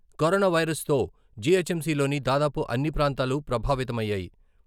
కరోనావైరస్తో జిహెచ్‌ఎంసిలోని దాదాపు అన్ని ప్రాంతాలు ప్రభావితమయ్యాయి.